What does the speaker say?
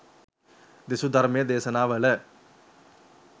දෙසූ ධර්ම දේශනාවල